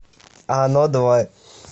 оно два